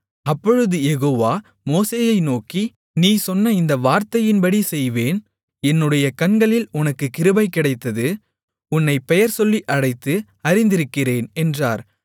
அப்பொழுது யெகோவா மோசேயை நோக்கி நீ சொன்ன இந்த வார்த்தையின்படி செய்வேன் என்னுடைய கண்களில் உனக்குக் கிருபை கிடைத்தது உன்னைப் பெயர்சொல்லி அழைத்து அறிந்திருக்கிறேன் என்றார்